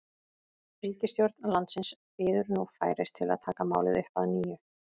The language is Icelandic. Ríkisstjórn landsins bíður nú færis til að taka málið upp að nýju.